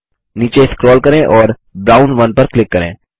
नीचे स्क्रोल करें और ब्राउन 1 पर क्लिक करें